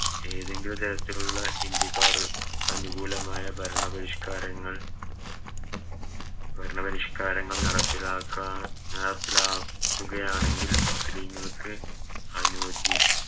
ഏതെങ്കിലും തരത്തിലുള്ള ഇന്ത്യക്കാറ് ക്കനുകൂലമായ ഭരണ പരിഷ്‌ക്കാരങ്ങൾ ഭരണ പരിഷ്‌ക്കാരങ്ങൾ നടപ്പിലാക്ക നടപ്പിലാക്കുകയാണെങ്കിൽ മുസ്ലിങ്ങൾക്ക് അനോജി